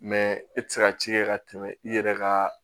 Mɛ e tɛ se ka ci kɛ ka tɛmɛ i yɛrɛ ka